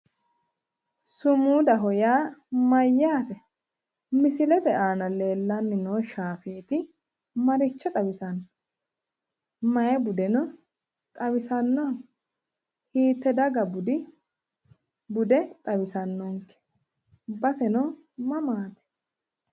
Sumudaho yaa mayyaate? Misilete aana leellanni noo shaafeeti maricho xawisanno? Mayi budeno xawisanno? Hiitte daga bude xawisanno? Baseno mamaati?